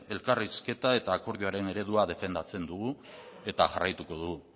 elkarrizketa eta akordioaren eredua defendatzen dugu eta jarraituko dugu